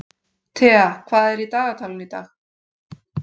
Thea, hvað er í dagatalinu í dag?